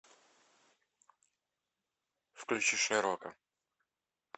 включи шерлока